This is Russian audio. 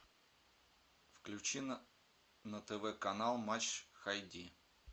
включи на тв канал матч хай ди